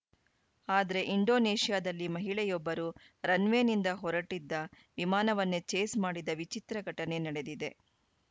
ಆದ್ರೆ ಇಂಡೋನೇಷ್ಯಾದಲ್ಲಿ ಮಹಿಳೆಯೊಬ್ಬರು ರನ್‌ವೇನಿಂದ ಹೊರಟಿದ್ದ ವಿಮಾನವನ್ನೇ ಚೇಸ್‌ ಮಾಡಿದ ವಿಚಿತ್ರ ಘಟನೆ ನಡೆದಿದೆ